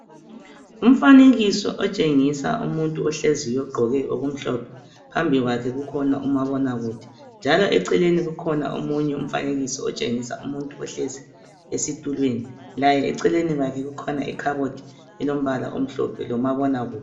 Umfanekiso otshengisa umuntu ohleziyo ogqoke okumhlophe, phambi kwakhe kukhona umabonakude, njalo eceleni kukhona omunye umfanekiso otshengisa umuntu ohlezi esitulweni, laye eceleni kwakhe kukhona ikhabothi elombala omhlophe lomabonakude.